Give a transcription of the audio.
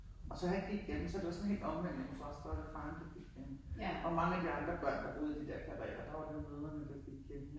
Og så har jeg ikke lige ja men så det var sådan helt omvendt hjemme hos os der var det faren blev hjemme og mange af de andre børn, der boede i de der karreer der var det jo mødrene der gik hjemme jo